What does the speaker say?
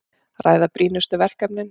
Ræða brýnustu verkefnin